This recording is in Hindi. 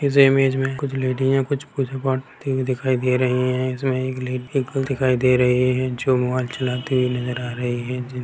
इस इमेंज में कुछ लेडी है कुछ पूजा पाठ करती हुई दिखाई दे रही है इसमें एक ले एक गर्ल दिखाई दे रही है जो मोबाइल चलाती हुई नजर आ रही है जिन--